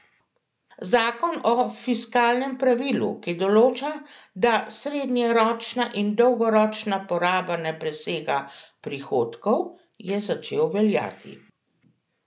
Zakon o fiskalnem pravilu, ki določa, da srednjeročna in dolgoročna poraba ne presega prihodkov, je začel veljati.